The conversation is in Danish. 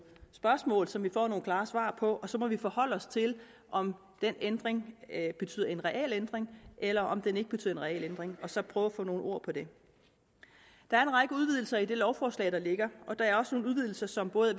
spørgsmål som vi får nogle klare svar på og så må vi forholde os til om den ændring betyder en reel ændring eller om den ikke betyder en reel ændring og så prøve at få sat nogle ord på det der er en række udvidelser i det lovforslag der ligger og der er også nogle udvidelser som både